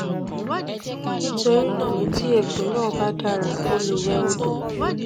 nítorí náà tí egbò náà bá dára o lè wẹ odò